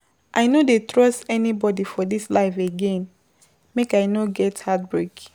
I no dey trust everybodi for dis life again make I no get heartbreak.